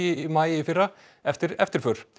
í maí í fyrra eftir eftirför